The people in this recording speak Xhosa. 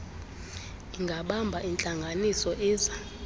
ingabamba intlanganiso ize